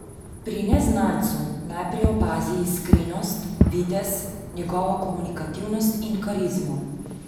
Pri neznancu najprej opazi iskrenost, videz, njegovo komunikativnost in karizmo.